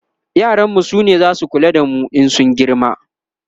yaran mu sune zasu kula da mu in sun girma